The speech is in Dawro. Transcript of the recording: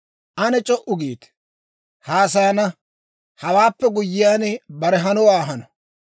«Ane c'o"u giite! haasayana; hawaappe guyyiyaan, bare hanowaa hano.